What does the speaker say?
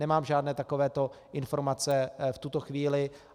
Nemám žádné takovéto informace v tuto chvíli.